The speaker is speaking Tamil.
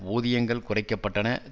ஊதியங்கள் குறைக்க பட்டன